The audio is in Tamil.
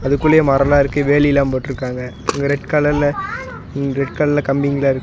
அதுக்குள்ளையே மரோல்லா இருக்கு வேலி எல்லா போட்ருக்காங்க அங்க ரெட் கலர்ல ரெட் கலர்ல கம்பிங்கல்லா இருக்கு.